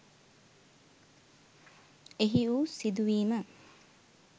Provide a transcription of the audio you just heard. එහි වූ සිදුවීම